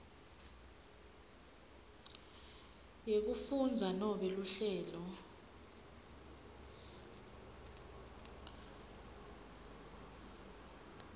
yekufundza nobe luhlelo